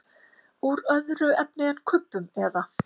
Úr öðru efni en kubbum eða?